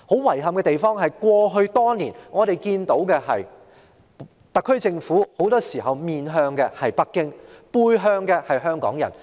遺憾的是，過去多年，我們看到特區政府很多時候是面向北京，背向香港人。